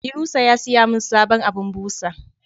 yunusa ya siyamin sabon abun busa